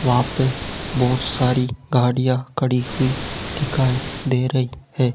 वहां पे बहुत सारी गाड़ियां खड़ी हुई दिखाई दे रही हैं।